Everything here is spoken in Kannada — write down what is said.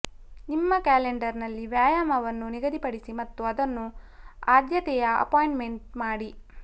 ನಿಮ್ಮ ಕ್ಯಾಲೆಂಡರ್ನಲ್ಲಿ ವ್ಯಾಯಾಮವನ್ನು ನಿಗದಿಪಡಿಸಿ ಮತ್ತು ಅದನ್ನು ಆದ್ಯತೆಯ ಅಪಾಯಿಂಟ್ಮೆಂಟ್ ಮಾಡಿ